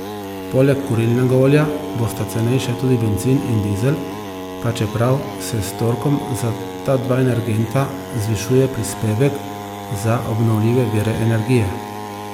Poleg kurilnega olja bosta cenejša tudi bencin in dizel, pa čeprav se s torkom za ta dva energenta zvišuje prispevek za obnovljive vire energije.